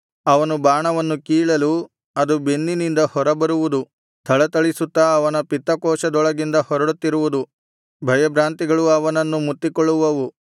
ಅವನು ಬಾಣವನ್ನು ಕೀಳಲು ಅದು ಬೆನ್ನಿನಿಂದ ಹೊರಬರುವುದು ಥಳಥಳಿಸುತ್ತಾ ಅವನ ಪಿತ್ತಕೋಶದೊಳಗಿಂದ ಹೊರಡುತ್ತಿರುವುದು ಭಯಭ್ರಾಂತಿಗಳು ಅವನನ್ನು ಮುತ್ತಿಕೊಳ್ಳುವವು